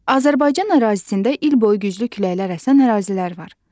Azərbaycan ərazisində il boyu güclü küləklər əsən ərazilər var.